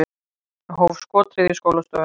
Hóf skothríð í skólastofu